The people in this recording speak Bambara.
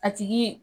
A tigi